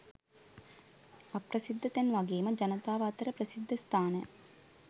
අප්‍රසිද්ධ තැන් වගේම ජනතාව අතර ප්‍රසිද්ධ ස්ථාන